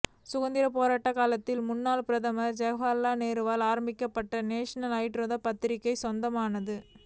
சுதந்திர போராட்ட காலத்தில் முன்னாள் பிரதமர் ஜவஹர்லால் நேருவால் ஆரம்பிக்கப்பட்ட நேஷனல் ஹெரால்டு பத்திரிகைக்கு சொந்தமான ரூ